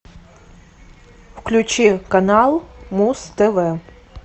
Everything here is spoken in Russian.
включи канал муз тв